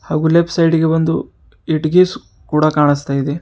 ಹಾಗು left side ಗೆ ಒಂದು ಇಟ್ಟಿಗೆ ಕೂಡ ಕಾಣಿಸ್ತಾ ಇದೆ.